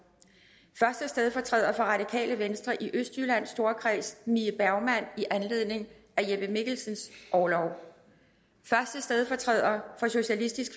første stedfortræder for radikale venstre i østjyllands storkreds mie bergmann i anledningen af jeppe mikkelsens orlov første stedfortræder for socialistisk